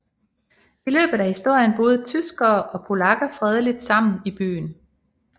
I løbet af historien boede tyskere og polakker fredeligt sammen i byen